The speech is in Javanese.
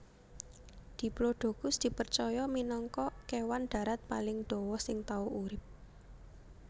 Diplodocus dipercaya minangka kèwan darat paling dawa sing tau urip